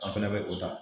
An fɛnɛ bɛ o ta